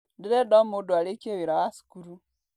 Ndĩrenda o mũndũ arĩkie wĩra wa cukuru.